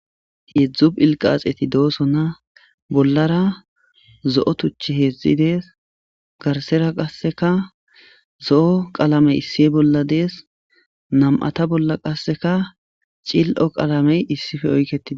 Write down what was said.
Hezu dhilqaxeti doosonna bollara zo'o tuchi hezudees garsera qasseka zo'o qalamey issi bolla dees nam'ata bolla qasseka cil'o qalamey issife oyketii